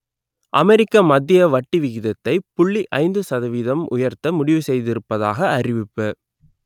அமெரிக்க மத்திய வங்கி வட்டி விகிதத்தை புள்ளி ஐந்து சதவீதம் உயர்த்த முடிவு செய்திருப்பதாக அறிவிப்பு